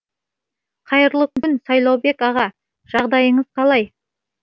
қайырлы күн сайлаубек аға жағдайыңыз қалай